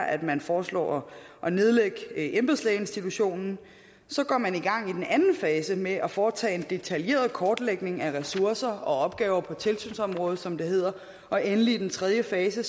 at man foreslår at nedlægge embedslægeinstitutionen så går man i gang i den anden fase med at foretage en detaljeret kortlægning af ressourcer og opgaver på tilsynsområdet som det hedder og endelig i den tredje fase